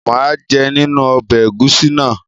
mà á jẹ nínú ọbẹ́ ẹ̀gúsí náà.